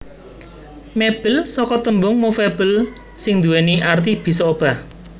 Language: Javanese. Mébel saka tembung movable sing duwéni arti bisa obah